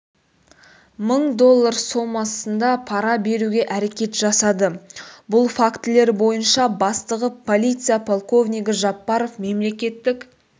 мың доллар сомасында пара беруге әрекет жасады бұл фактілер бойынша бастығы полиция полковнигі жаппаров мемлекеттік